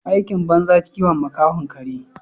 Aikin banza kiwon makahon kare.